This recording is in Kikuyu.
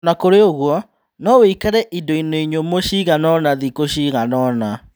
Onakũrĩoũguo, noũikare indoinĩ nyũmũ ciganaona thikũ ciganaona.